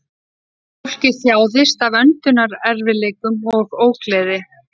Fólkið þjáðist af öndunarerfiðleikum og ógleði